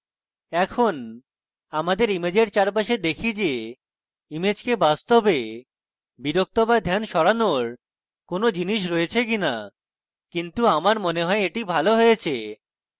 এখন আমাদের ইমেজের চারপাশে দেখি যে ইমেজকে বাস্তবে বিরক্ত বা ধ্যান সরানোর কোনো জিনিস রয়েছে কিনা কিন্তু আমার মনে হয় এটি ভালো হয়েছে